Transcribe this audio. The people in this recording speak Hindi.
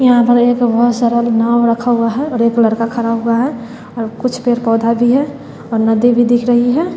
यहां पर एक बहोत सारा नाव रखा हुआ है और एक लड़का खड़ा हुआ है और कुछ पेड़-पौधा भी है और नदी भी दिख रही है।